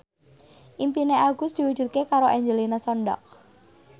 impine Agus diwujudke karo Angelina Sondakh